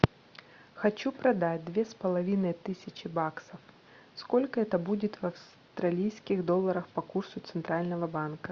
хочу продать две с половиной тысячи баксов сколько это будет в австралийских долларах по курсу центрального банка